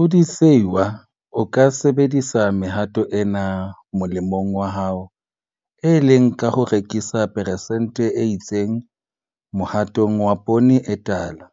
O le sehwai o ka sebedisa mehato ena molemong wa hao, e leng ka ho rekisa peresente e itseng mohatong wa poone e tala,